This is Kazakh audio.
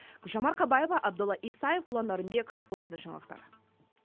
гүлжан марқабаева абдолла исаев ұлан нарынбек қорытынды жаңалықтар